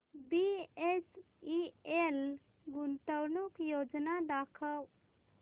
BHEL गुंतवणूक योजना दाखव